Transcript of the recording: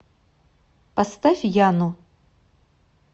поставь яну